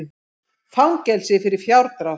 Fangelsi fyrir fjárdrátt